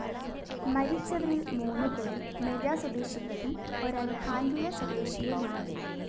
മരിച്ചവരില്‍ മൂന്നു പേര്‍ മെജ സ്വദേശികളും ഒരാള്‍ ഹാന്‍ഡിയ സ്വദേശിയുമാണ്